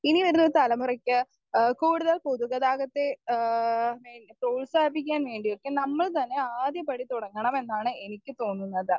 Speaker 1 ഇനി വരുന്നൊരു തലമുറയ്ക്ക് ഏഹ് കൂടുതൽ പൊതുഗതാഗതത്തെ ഏഹ് പ്രോത്സാഹിപ്പിക്കാൻ വേണ്ടിയൊക്കെ നമ്മൾ തന്നെ ആദ്യപടി തുടങ്ങണം എന്നാണ് എനിക്ക് തോന്നുന്നത്.